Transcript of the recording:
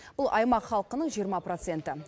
бұл аймақ халқының жиырма проценті